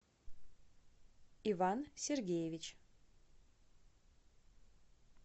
иван сергеевич